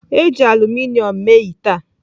E ji aluminom mee ite a.